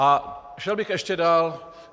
A šel bych ještě dál.